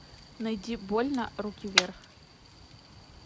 найди больно руки вверх